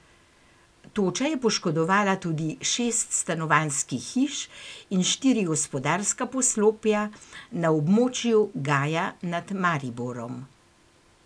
Toča je poškodovala tudi šest stanovanjskih hiš in štiri gospodarska poslopja na območju Gaja nad Mariborom.